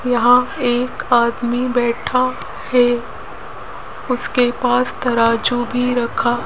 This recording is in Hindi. यहां एक आदमी बैठा है उसके पास तराजू भी रखा --